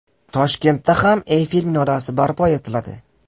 Toshkentda ham Eyfel minorasi barpo etiladi.